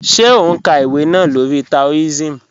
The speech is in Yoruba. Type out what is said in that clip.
Ṣé ó n ká ìwé náà lórí Taoism?